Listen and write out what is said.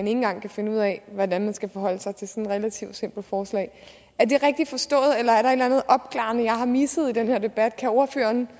engang kan finde ud af hvordan man skal forholde sig til sådan et relativt simpelt forslag er det rigtigt forstået eller er der et eller andet opklarende jeg har misset i den her debat kan ordføreren